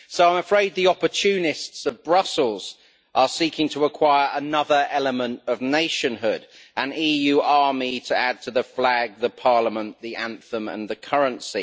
So I am afraid the opportunists of Brussels are seeking to acquire another element of nationhood an EU army to add to the flag, the Parliament, the anthem and the currency.